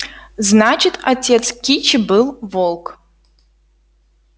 значит отец кичи был волк